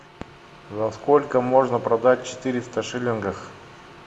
за сколько можно продать четыреста шиллингов